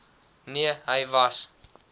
nee hy was